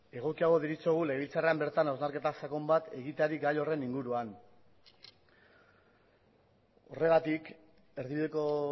egokiago deritzogu legebiltzarrean bertan hausnarketa sakon bat egiteari gai horren inguruan horregatik erdibideko